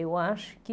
Eu acho que...